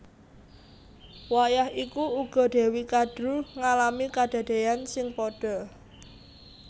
Wayah iku uga Dewi Kadru ngalami kadadéyan sing padha